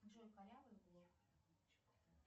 джой корявый блок